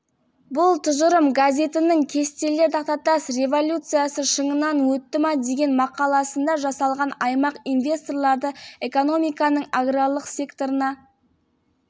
сүт және сүт өнімдерін өндіруді дамыту мақсатында алакөл ауданында күніне тонна сүт өндіретін қайта өңдеу зауытын